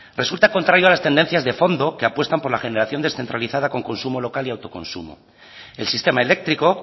resulta contraiga las tendencias de fondo que apuestan por la generación descentralizada con consumo local y autoconsumo el sistema eléctrico